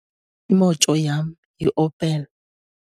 Imoto yam yiOpel.